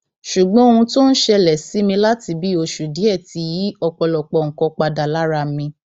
ṣùgbọn ohun tó ń ṣẹlẹ sí mi láti bíi oṣù díẹ ti yí ọpọlọpọ nǹkan padà lára mi